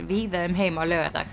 víða um heim á laugardag